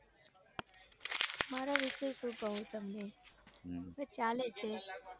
મારા વિશે શું કૌ તમને બસ ચાલે છે.